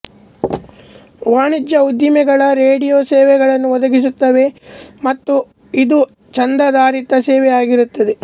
ವಾಣಿಜ್ಯ ಉದ್ದಿಮೆಗಳು ರೇಡಿಯೊ ಸೇವೆಗಳನ್ನು ಒದಗಿಸುತ್ತದವೆ ಮತ್ತು ಇದು ಚಂದಾಧಾರಿತ ಸೇವೆಯಾಗಿರುತ್ತದೆ